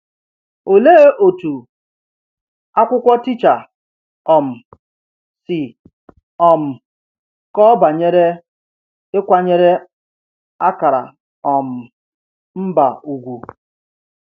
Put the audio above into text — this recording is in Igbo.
Olee otu akwụkwọ Teacher um si um kọọ banyere ịkwanyere akara um mba ugwu?